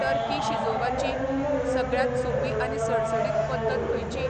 Turkey शिजोवाची सगळ्यांत सोपी आनी सडसडीत पद्दत खंयची?